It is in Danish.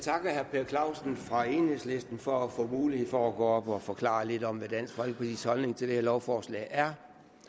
per clausen fra enhedslisten for at få mulighed for at gå op og forklare lidt om hvad dansk folkepartis holdning til det her lovforslag er